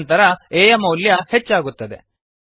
ನಂತರ a ಯ ಮೌಲ್ಯ ಹೆಚ್ಚಾಗುತ್ತದೆ